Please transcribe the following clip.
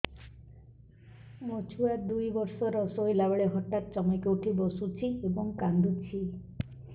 ମୋ ଛୁଆ ଦୁଇ ବର୍ଷର ଶୋଇଲା ବେଳେ ହଠାତ୍ ଚମକି ଉଠି ବସୁଛି ଏବଂ କାଂଦୁଛି